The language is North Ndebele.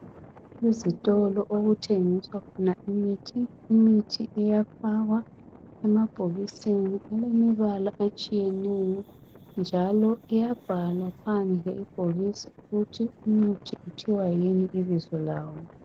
Kuzitolo okuthengiswa khona imithi , imithi iyafakwa emabhokisini elemibala etshiyeneyo njalo iyabhalwa phandle ibhokisi ukuthi imithi kuthiwa yini ibizo lawo.